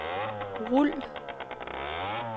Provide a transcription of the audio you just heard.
rul